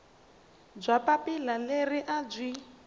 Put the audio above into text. bya papila leri a byi